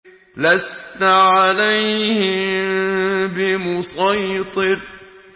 لَّسْتَ عَلَيْهِم بِمُصَيْطِرٍ